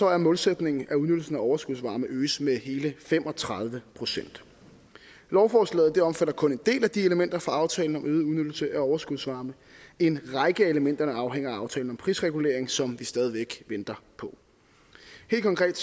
er målsætningen at udnyttelsen af overskudsvarme øges med hele fem og tredive procent lovforslaget omfatter kun en del af de elementer for aftalen om øget udnyttelse af overskudsvarme en række af elementerne afhænger af aftalen om prisregulering som vi stadig væk venter på helt konkret